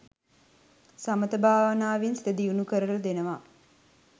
සමථ භාවනාවෙන් සිත දියුණු කරල දෙනව.